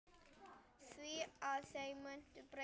Því fyrr, þeim mun betra.